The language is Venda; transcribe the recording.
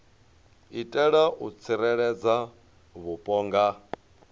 itela u tsireledza vhupo nga